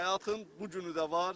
Həyatın bu günü də var.